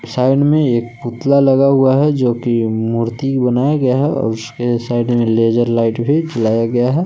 Side में एक पुतला लगा हुआ है जो कि मूर्ति बनाया गया है और उसके साइड में लेजर लाइट भी चलाया गया है।